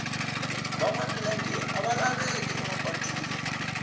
va nwa milenge a va laveki ema patwini